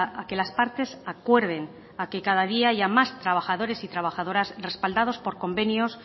a que las partes acuerden a que cada día haya más trabajadores y trabajadoras respaldados por convenios